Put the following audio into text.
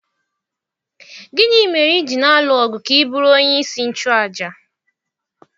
Gịnị mere i ji na-alụ ọgụ ka ị bụrụ onyeisi nchụàjà?